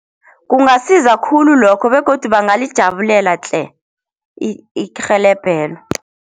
Kungasiza khulu lokho begodu bangalijabulela tle, irhelebhelo.